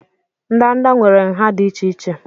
ndanda nwere nha dị iche iche